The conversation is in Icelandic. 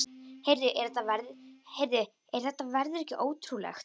Heyrðu, er þetta veður ekki ótrúlegt?